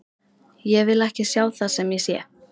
Ég vil ekki sjá það sem ég sé.